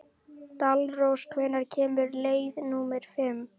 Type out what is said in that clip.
Dalrós, hvenær kemur leið númer fimm?